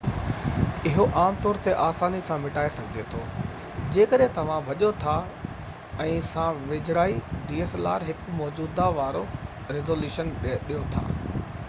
اهو عام طور تي آساني سان مٽائي سگهجي ٿو جيڪڏهن توهان ڀڄو ٿا ۽ هڪ موجوده dslr سان ويجهڙائي وارو ريزوليوشن ڏيو ٿا